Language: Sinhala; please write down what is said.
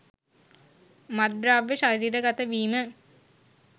මත්ද්‍රව්‍ය ශරීරගත වීම